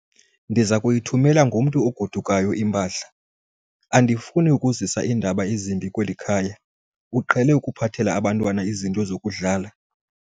Ndiza kuyithumela ngomntu ogodukayo impahla. andifuni ukuzisa iindaba ezimbi kweli khaya, uqhele ukuphathela abantwana izinto zokudlala